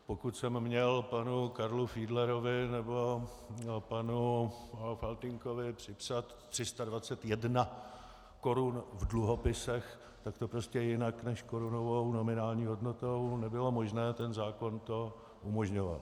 Pokud jsem měl panu Karlu Fiedlerovi nebo panu Faltýnkovi připsat 321 korun v dluhopisech, tak to prostě jinak než korunovou nominální hodnotou nebylo možné a zákon to umožňoval.